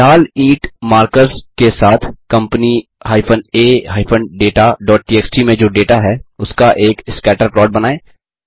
लाल ईंट मार्कर्स के साथ कम्पनी a dataटीएक्सटी में जो डेटा है उसका एक स्कैटर प्लॉट बनाएँ